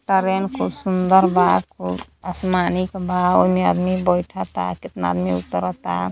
Train को सुंदर बा। आसमानी कलर उमा आदमी बैठाता। कितना आदमी उतरा ता।